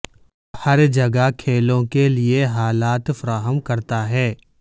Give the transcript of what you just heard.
ہر جگہ کھیلوں کے لئے حالات فراہم کرتا ہے